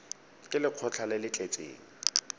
ke lekgotlha le le tletseng